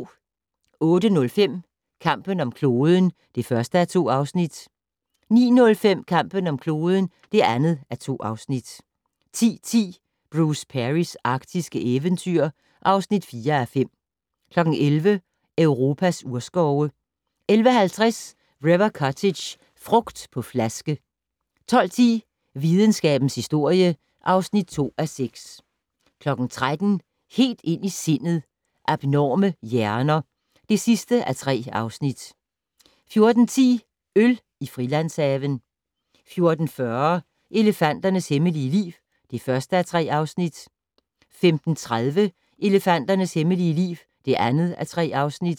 08:05: Kampen om kloden (1:2) 09:05: Kampen om kloden (2:2) 10:10: Bruce Perrys arktiske eventyr (4:5) 11:00: Europas urskove 11:50: River Cottage - frugt på flaske 12:10: Videnskabens historie (2:6) 13:00: Helt ind i sindet: Abnorme hjerner (3:3) 14:10: Øl i Frilandshaven 14:40: Elefanternes hemmelige liv (1:3) 15:30: Elefanternes hemmelige liv (2:3)